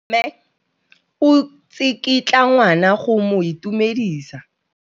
Mme o tsikitla ngwana go mo itumedisa.